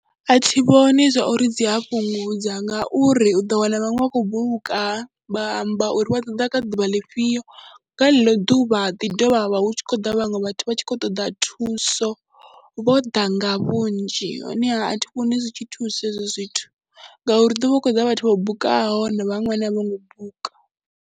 A thi vhoni zwa uri dzi a fhungudza ngauri u ḓo wana vhaṅwe vha khou buka vha amba uri vha ṱoḓa kha ḓuvha ḽifhio, nga ḽeḽo ḓuvha ḓi dovha ha vha hu tshi khou ḓa vhaṅwe vha vha tshi khou ṱoḓa thuso, vho ḓa nga vhunzhi. Honeha a thi vhoni zwi tshi thusa hezwo zwithu ngauri ḓo vha hu khou ḓa vhathu vho bukaho na vhaṅww vhane a vho ngo buka.